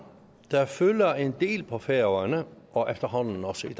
der fylder en del på færøerne og efterhånden også